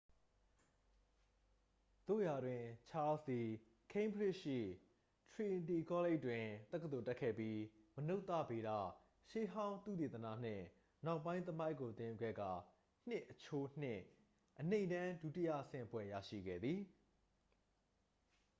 သို့ရာတွင် ချားလ်စ်သည် ကိန်းဘရစ်ရှိ ထရီနတီကောလိပ်တွင် တက္ကသိုလ်တက်ခဲ့ပြီး မနုဿဗေဒ၊ ရှေးဟောင်းသုတေသနနှင့် နောက်ပိုင်း သမိုင်းကို သင်ယူခဲ့ကာ ၂:၂ အနိမ့်တန်း ဒုတိယဆင့်ဘွဲ့ရရှိခဲ့သည်။